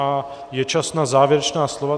A je čas na závěrečná slova.